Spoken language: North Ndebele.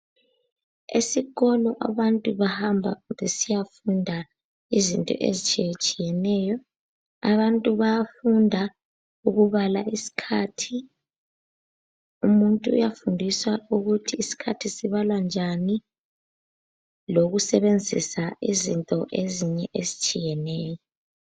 Esikolo abantu bahamba besiyafunda izinto ezitshiye tshiyeneyo, abantu bayafunda ukubala isikhathi, umuntu uyafundiswa ukuthi isikhathi sibalwa njani lokusebenzisa izinto ezinye ezitshiyeneyo.